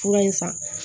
Fura in san